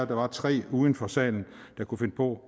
var tre uden for salen der kunne finde på